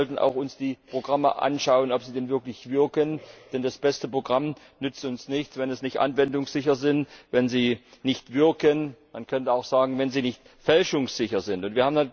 Wir sollten uns noch einmal die Programme ansehen, ob sie denn wirklich wirken, denn das beste Programm nützt uns nichts, wenn es nicht anwendungssicher ist, wenn es nicht wirkt, man könnte auch sagen, wenn es nicht fälschungssicher ist.